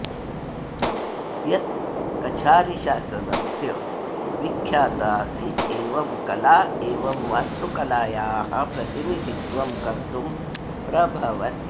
यत् कछारीशासनस्य विख्यात आसीत् एवं कला एवं वास्तुकलायाः प्रतिनिधित्वं कर्तुं प्रभवति